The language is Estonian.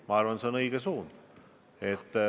Ma arvan, see on õige suund.